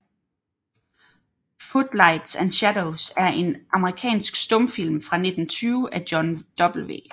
Footlights and Shadows er en amerikansk stumfilm fra 1920 af John W